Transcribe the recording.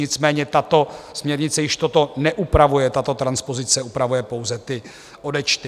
Nicméně tato směrnice již toto neupravuje, tato transpozice upravuje pouze ty odečty.